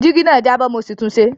Jígí náà jábọ́ mo sì tunṣe